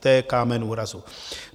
To je kámen úrazu.